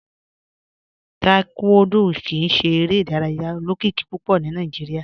Taekwondo kìí ṣè èrè idàrayà olókìkí púpọ̀ ní Nàìjíríà.